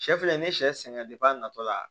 Sɛ filɛ nin ye sɛ sɛ sɛ sɛgɛn a natɔla